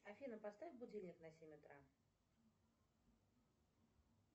афина поставь будильник на семь утра